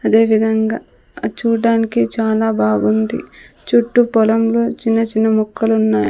అదే విధంగా అద్ చూడ్డానికి చాలా బాగుంది చుట్టు పొలంలో చిన్న చిన్న మొక్కలున్నాయ్.